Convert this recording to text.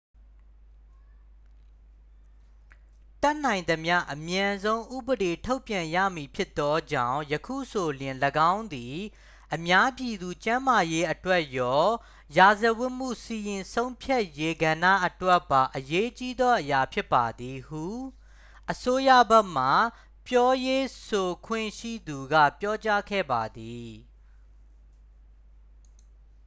"""တတ်နိုင်သမျှအမြန်ဆုံး ဥပေဒေထုတ်ပြန်ရမည်ဖြစ်သောကြောင့် ယခုဆိုလျှင် ၎င်းသည် အများပြည်သူကျန်းမာရေးအတွက်ရော ရာဇဝတ်မှုစီရင်ဆုံးဖြတ်ရေးကဏ္ဍအတွက်ပါ အရေးကြီးသောအရာဖြစ်ပါသည်""၊ ဟု အစိုးရဘက်မှပြောရေးဆိုခွင့်ရှိသူက ပြောကြားခဲ့ပါသည်။